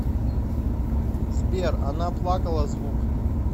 сбер она плакала звук